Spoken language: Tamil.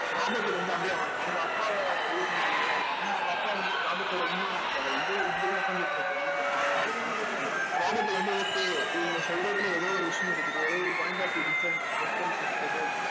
ராபர்ட்க்கு வந்து அப்படியே அவங்க அவங்க அப்பாவை இது பண்ற மாதிரி இருக்கும் ஏன்னா அவங்க அப்பா வந்து ராபர்ட்டோட உண்மையான அப்பா வந்து இப்படித்தான் உட்கார்ந்துட்டு இருப்பாரு நம்மளுக்கு பணம் வந்துரும் பணம் வந்துரும்ன்டு ராபர்ட் வந்து okay இவங்க சொல்றதுல ஏதோ ஒரு விஷயம் இருக்குது ஏதோ ஒரு point of view different difference இருக்குது